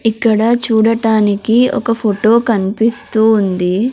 ఇక్కడ చూడటానికి ఒక ఫోటో కనిపిస్తూ ఉంది.